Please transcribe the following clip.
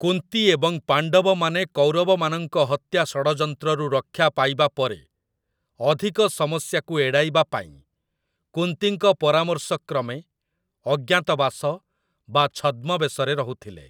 କୁନ୍ତୀ ଏବଂ ପାଣ୍ଡବମାନେ କୌରବମାନଙ୍କ ହତ୍ୟା ଷଡ଼ଯନ୍ତ୍ରରୁ ରକ୍ଷା ପାଇବା ପରେ, ଅଧିକ ସମସ୍ୟାକୁ ଏଡ଼ାଇବା ପାଇଁ, କୁନ୍ତୀଙ୍କ ପରାମର୍ଶକ୍ରମେ ଅଜ୍ଞାତବାସ ବା ଛଦ୍ମବେଶରେ ରହୁଥିଲେ ।